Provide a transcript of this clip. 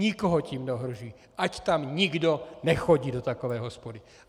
Nikoho tím neohrožují, ať tam nikdo nechodí, do takové hospody.